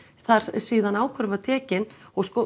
síðan ákvörðunin var tekin og sko